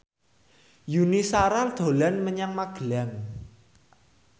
Yuni Shara dolan menyang Magelang